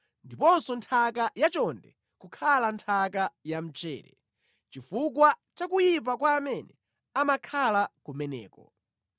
ndiponso nthaka yachonde kukhala nthaka yamchere, chifukwa cha kuyipa kwa amene amakhala kumeneko.